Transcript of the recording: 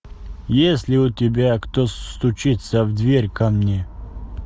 есть ли у тебя кто стучится в дверь ко мне